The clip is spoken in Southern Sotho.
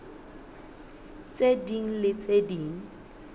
tse ding le tse ding